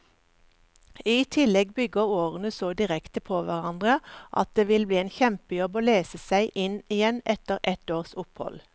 I tillegg bygger årene så direkte på hverandre at det vil bli en kjempejobb å lese seg inn igjen etter et års opphold.